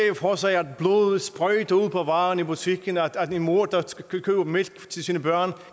for sig at blodet sprøjter ud på varerne i butikken at en mor der køber mælk til sine børn